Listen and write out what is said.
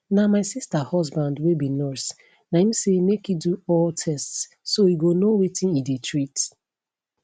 na my sister husband wey be nurse na im say make e do all tests so e go know wetin e dey treat